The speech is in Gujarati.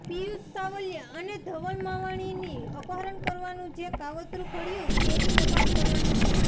પિયુષ સાવલિયા અને ધવલ માવાણીનું અપહરણ કરવાનું જે કાવતરૂ ઘડયુ તેની તપાસ કરવાની છે